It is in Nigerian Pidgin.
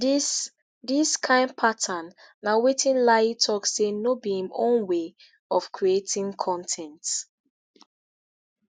dis dis kain pattern na wetin layi tok say no be im own way of creating con ten t.